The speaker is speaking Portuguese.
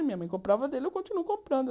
Minha mãe comprava dele e eu continuo comprando.